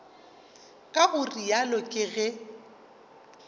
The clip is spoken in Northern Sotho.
ka go realo ke ge